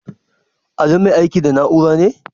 Ali mai aiki da na'ura ne?